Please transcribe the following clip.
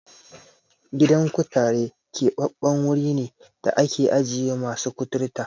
Gidan kutare keɓaɓɓen wuri ne da ake ajiye masu kuturta.